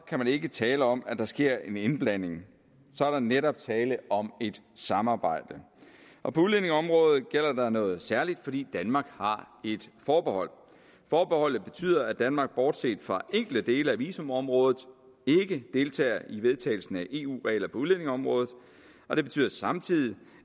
kan man ikke tale om at der sker en indblanding så er der netop tale om et samarbejde og på udlændingeområdet gælder der noget særligt fordi danmark har et forbehold forbeholdet betyder at danmark bortset fra enkelte dele af visumområdet ikke deltager i vedtagelsen af eu regler på udlændingeområdet og det betyder samtidig